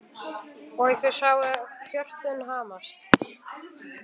Og þau sáu hjörtun hamast.